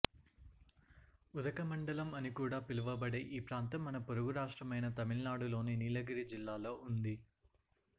ఉదక మండలం అని కూడా పిలువబడే ఈ ప్రాంతం మన పొరుగు రాష్టమ్రైన తమిళనాడులోని నీలగిరి జిల్లాలో ఉంది